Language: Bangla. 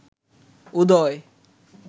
উদয়